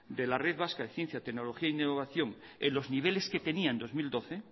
de la red vasca de ciencia tecnología e innovación en los niveles que tenía en dos mil doce